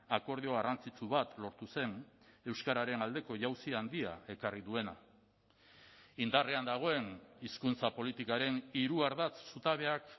akordio garrantzitsu bat lortu zen euskararen aldeko jauzi handia ekarri duena indarrean dagoen hizkuntza politikaren hiru ardatz zutabeak